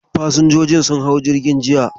Fasinjojin sun hau jirgin jiya.